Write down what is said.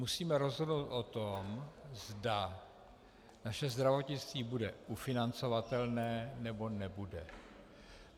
Musíme rozhodnout o tom, zda naše zdravotnictví bude ufinancovatelné, nebo nebude.